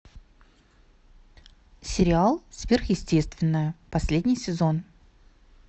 сериал сверхъестественное последний сезон